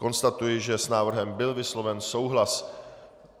Konstatuji, že s návrhem byl vysloven souhlas.